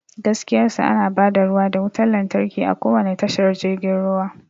Gaskiyar sa, ana ba da ruwa da wutar lantarki a kowane tashar jirgin ruwa.